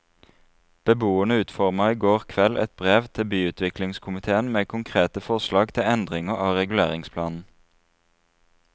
Beboerne utformet i går kveld et brev til byutviklingskomitéen med konkrete forslag til endringer av reguleringsplanen.